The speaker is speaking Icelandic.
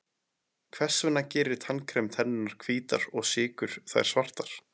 hvers vegna gerir tannkrem tennurnar hvítar og sykur þær svartar